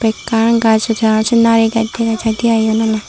ekkan gaaj raj sinari dega jaide aai yen ole.